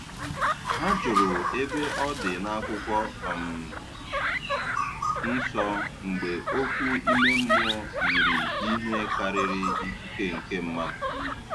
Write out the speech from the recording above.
Ha jụrụ ebe ọ dị n'akwụkwọ um nsọ mgbe okwu ime mmụọ yiri ihe karịrị ikike nke mmadụ